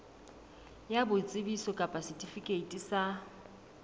ya boitsebiso kapa setifikeiti sa